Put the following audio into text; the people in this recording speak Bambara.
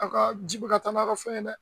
Aw ka ji bɛ ka taa n'aw ka fɛn ye dɛ.